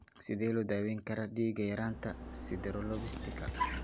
Sidee baa loo daweyn karaa dhiig-yaraanta sideroblastika?